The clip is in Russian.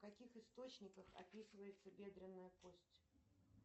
в каких источниках описывается бедренная кость